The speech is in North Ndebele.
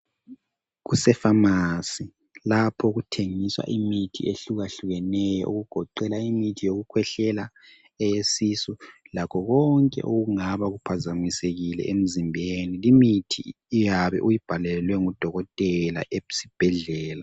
Kusefamasi lapho okuthengiswa imithi ehlukahlukeneyo okugoqela imithi yokukhwehlela eyesisu lakho konke okungaba kuphazamisekile emzimbeni. Limithi iyabe uyibhalelwe ngu dokotela esibhedlela.